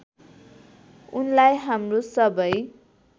उनलाई हाम्रो सबै